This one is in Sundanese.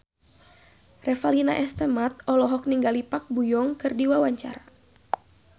Revalina S. Temat olohok ningali Park Bo Yung keur diwawancara